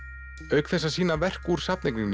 auk þess að sýna verk úr